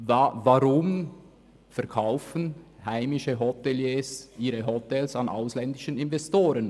Warum verkaufen heimische Hoteliers ihre Hotels an ausländische Investoren?